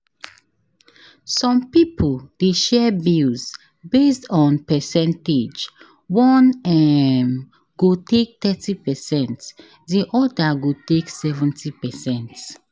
Some pipo de share bills based on percentage one um go take thirty percent di other go take 70%